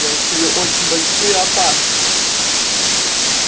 я чую очень большую опасность